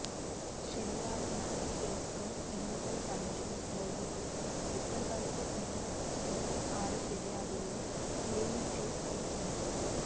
శనివారం నాటి కేసుతో ఎన్నికల కమిషన్ మోదీకి ఇప్పటివరకు ఉన్న మొత్తం ఆరు ఫిర్యాదులలో క్లీన్ చిట్ ఇచ్చింది